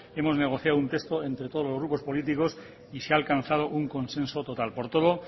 hemos negociado un texto entre todos los grupos políticos y se ha alcanzado un consenso total por todo